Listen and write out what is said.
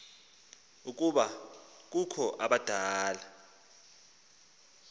ukuba kukho abadala